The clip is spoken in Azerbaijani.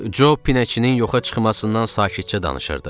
Job pinəçinin yoxa çıxmasından sakitcə danışırdı.